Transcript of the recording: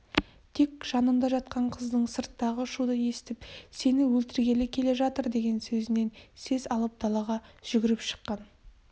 тек жанында жатқан қыздың сырттағы шуды естіп сені өлтіргелі келе жатыр деген сөзінен сес алып далаға жүгіріп шыққан